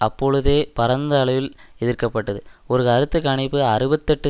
அப்பொழுதே பரந்த அளவில் எதிர்க்கப்பட்டது ஒரு கருத்து கணிப்பு அறுபத்தி எட்டு